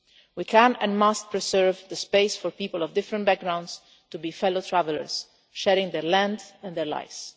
We can, and must, preserve the space for people of different backgrounds to be fellow travellers, sharing their land and their lives.